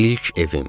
İlk evim.